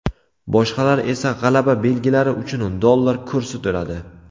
Boshqalar esa g‘alaba belgilari uchun dollar to‘ladi.